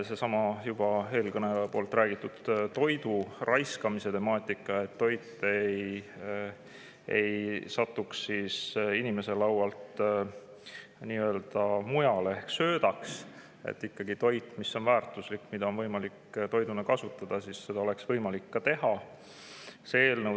Seesama eelkõneleja räägitud toidu raiskamise temaatika, et toit ei satuks inimese laualt mujale ehk söödaks, et toitu, mis on väärtuslik ja mida on võimalik toiduna kasutada, sellena ka.